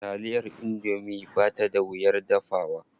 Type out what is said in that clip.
Taliyar indomie ba ta da wuyar dafawa.